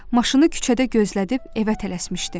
Maşını küçədə gözlədib evə tələsmişdi.